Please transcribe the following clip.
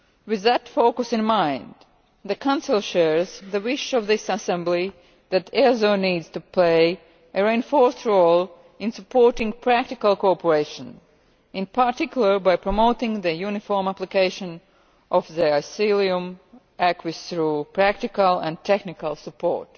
With that focus in mind, the Council shares the wish of this assembly that EASO needs to play a reinforced role in supporting practical cooperation, in particular by promoting the uniform application of the asylum acquis through practical and technical support.